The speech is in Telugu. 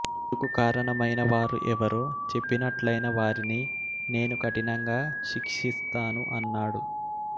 ఇందుకు కారణమైన వారు ఎవరో చెప్పినట్లైన వారిని నేను కఠినంగా శిక్షిస్తాను అన్నాడు